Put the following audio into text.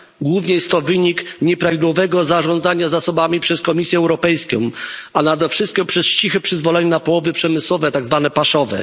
Głównie jest to wynik nieprawidłowego zarządzania zasobami przez Komisję Europejską, a nade wszystko cichego przyzwolenia na połowy przemysłowe, tzw. paszowe.